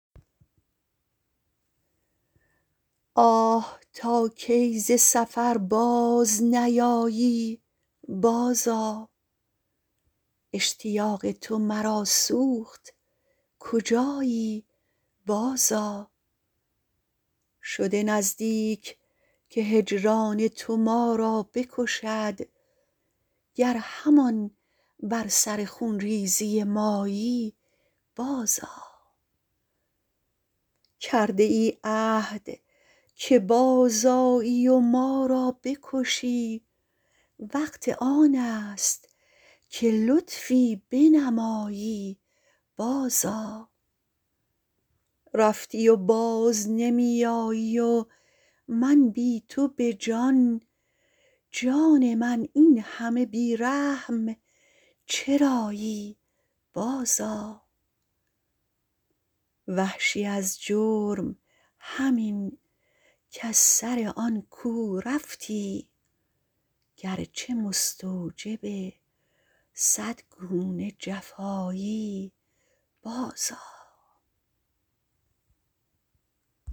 آه تا کی ز سفر باز نیایی بازآ اشتیاق تو مرا سوخت کجایی بازآ شده نزدیک که هجران تو ما را بکشد گر همان بر سر خونریزی مایی بازآ کرده ای عهد که بازآیی و ما را بکشی وقت آنست که لطفی بنمایی بازآ رفتی و باز نمی آیی و من بی تو به جان جان من اینهمه بی رحم چرایی بازآ وحشی از جرم همین کز سر آن کو رفتی گرچه مستوجب صد گونه جفایی بازآ